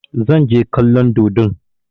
Zan je kallon dodon.